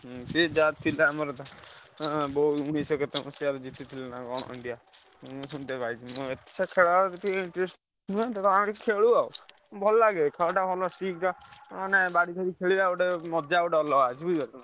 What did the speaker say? ହଁ ସିଏ ଯାହା ଥିଲା ଆମର India ମୁଁ ସୁନତେ ପାଇଥିଲି, ମୁଁ ଏତେ ସେ ଖେଳରେ କିଛି interest ନୁହେଁ ତଥାପି ଆମେ ଖେଳୁ ଆଉ। ଭଲ ଲାଗେ ଖେଳ ଟା ଭଲ ଟା ମାନେ ବାଡି ଧରି ଖେଳିବା ମଜା ଗୋଟେ ଅଲଗା ବୁଝିପାରୁଛ ନା।